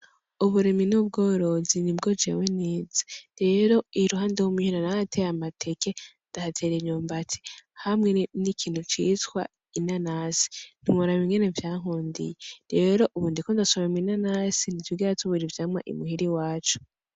Uburimyi n'ubworozi nubwo jewe nize, rero iruhande yo muhira narahateye amateke, ndahatera imyumbati, hamwe n'ikintu citwa inanasi, ntiworaba ingene vyankundiye, rero ubu ndiko ndasoroma inanasi ntitwigera tubura ivyamwa i muhira iwacu.